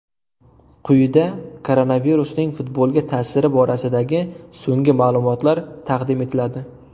Quyida koronavirusning futbolga ta’siri borasidagi so‘nggi ma’lumotlar taqdim etiladi.